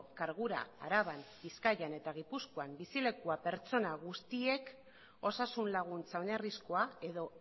kargura araban bizkaian eta gipuzkoan bizilekua pertsona guztiek osasun laguntza oinarrizkoa edo